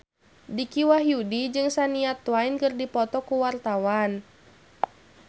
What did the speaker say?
Dicky Wahyudi jeung Shania Twain keur dipoto ku wartawan